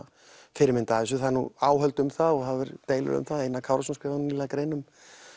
fyrirmynd að þessu það eru áhöld um það og hafa verið deilur um það Einar Kárason skrifaði nýlega grein